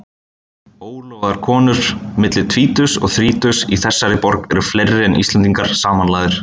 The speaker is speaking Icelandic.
Ólofaðar konur milli tvítugs og þrítugs í þessari borg eru fleiri en Íslendingar samanlagðir.